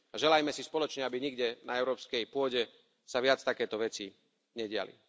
Želajme si spoločne, aby nikde na európskej pôde sa viac takéto veci nediali.